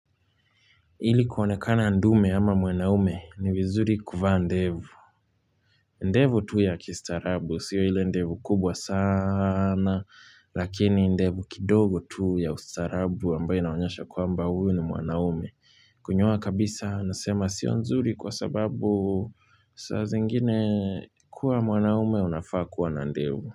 Hili kuonekana ndume ama mwanaume ni vizuri kuvaa ndevu. Ndevu tu ya kistarabu, sio hile ndevu kubwa sana, lakini ndevu kidogo tu ya ustarabu ambaye inaonyesha kwamba huyu ni mwanaume. Kunyoa kabisa nasema sio nzuri kwa sababu saa zingine kuwa mwanaume unafaa kuwa na ndevu.